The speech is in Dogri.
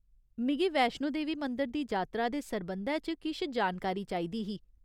मिगी वैश्णो देवी मंदर दी जातरा दे सरबंधै च किश जानकारी चाहिदी ही।